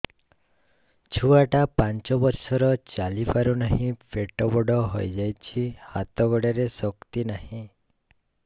ଛୁଆଟା ପାଞ୍ଚ ବର୍ଷର ଚାଲି ପାରୁ ନାହି ପେଟ ବଡ଼ ହୋଇ ଯାଇଛି ହାତ ଗୋଡ଼ରେ ଶକ୍ତି ନାହିଁ